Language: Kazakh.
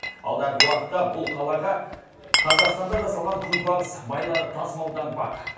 алдағы уақытта бұл қалаға қазақстанда жасалған күнбағыс майлары тасымалданбақ